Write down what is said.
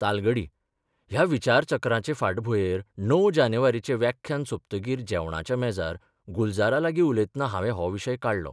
तालगडी ह्या विचारचक्राचे फाटभुंयेर 9 जानेवारीचें व्याख्यान सोंपतकीर जेवणाच्या मेजार गुलजारालागीं उलयतना हावें हो विशय काडलो.